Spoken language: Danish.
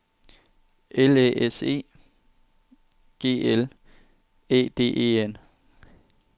L Æ S E G L Æ D E N